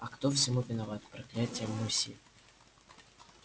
а кто всему виноват проклятый мусье